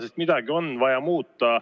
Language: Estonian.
Sest midagi on vaja muuta.